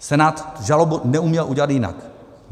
Senát žalobu neuměl udělat jinak.